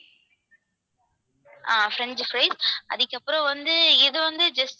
அஹ் french fries அதுக்கப்புறம் வந்து இது வந்து just